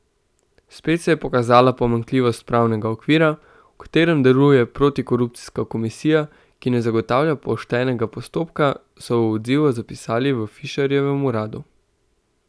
Spet se je pokazala pomanjkljivost pravnega okvira, v katerem deluje protikorupcijska komisija, ki ne zagotavlja poštenega postopka, so v odzivu zapisali v Fišerjevem uradu.